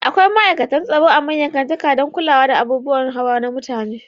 Akwai ma'aikatan tsaro a manyan kantikan dan kula da abubuwan hawa na mutane